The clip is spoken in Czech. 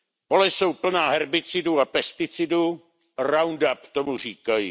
Pole jsou plná herbicidů a pesticidů, Roundup tomu říkají.